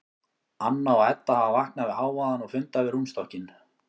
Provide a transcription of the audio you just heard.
Anna og Edda hafa vaknað við hávaðann og funda við rúmstokkinn.